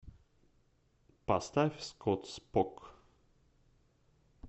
поставь скотт спок